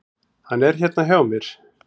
Hann er hérna hjá mér.